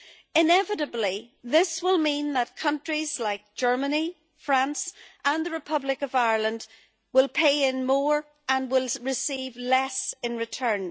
Inevitably, this will mean that countries like Germany, France and the Republic of Ireland will pay in more and will receive less in return.